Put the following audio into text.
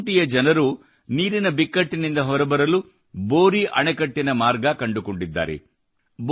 ಖೂಂಟಿಯ ಜನರು ನೀರಿನ ಬಿಕ್ಕಟ್ಟಿನಿಂದ ಹೊರಬರಲು ಬೋರಿ ಅಣೆಕಟ್ಟಿನ ಮಾರ್ಗ ಕಂಡುಕೊಂಡಿದ್ದಾರೆ